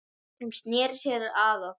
Hún sneri sér að okkur